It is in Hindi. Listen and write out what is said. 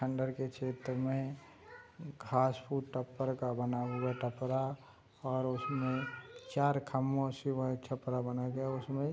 खण्डर के क्षेत्र में घास फूस टपर का बना हुआ है टपरा और उसमे चार खम्भों से वह छपरा बना गया है उसमे --